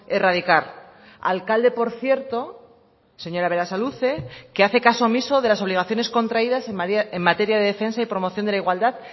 erradicar alcalde por cierto señora berasaluze que hace caso omiso de las obligaciones contraídas en materia de defensa y promoción de la igualdad